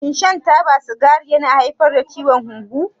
Shin shan taba sigari yana haifar da ciwon hunhu?